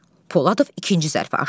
Poladov ikinci zərfi açdı.